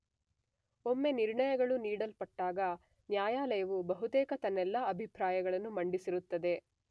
ಒಮ್ಮೆ ನಿರ್ಣಯಗಳು ನೀಡಲ್ಪಟ್ಟಾಗ ನ್ಯಾಯಾಲಯವು ಬಹುತೇಕ ತನ್ನೆಲ್ಲ ಅಭಿಪ್ರಾಯಗಳನ್ನು ಮಂಡಿಸಿರುತ್ತದೆ.